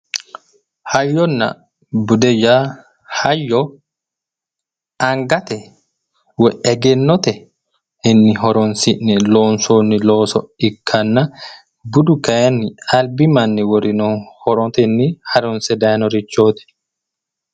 Hayyonna bude :-Hayyonna bude yaa hayyo angate woyi egennotenni horoonsi'ne loonsoonni losoo ikkanna budu kaayinni albi manni worino horotenni harunsse daayinoreeti